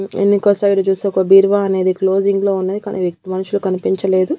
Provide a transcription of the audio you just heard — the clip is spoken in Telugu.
ఎన్నికోసైడు చూస్తే ఒక బీరువా అనేది క్లోజింగ్ లో ఉన్నది కానీ మనుషులు కనిపించలేదు.